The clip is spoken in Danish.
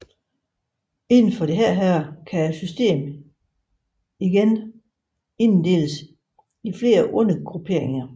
Inden for dette kan systemet igen inddeles i flere undergrupperinger